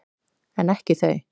En ekki þau.